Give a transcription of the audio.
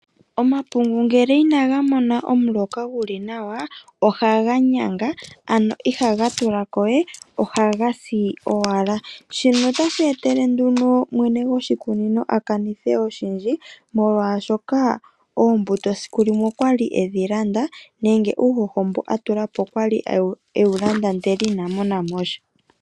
Omapungu ngele inaga mona omuloka guli nawa ohaga ganya ano ihaga tulakowe ohaga si owala. Shino otashi etele nduno mwene goshikunino akanithe oshindji molwashoka oombuto esiku limwe okwali edhi landa nenge uuhoho mboka alongitha okwali ewu landa ndele inamona mo sha.